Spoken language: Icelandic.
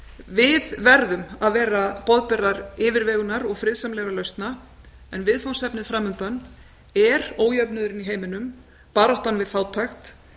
við verðum að vera boðberar yfirvegunar og friðsamlegra lausna en viðfangsefnið framundan er ójöfnuðurinn í heiminum baráttan við fátækt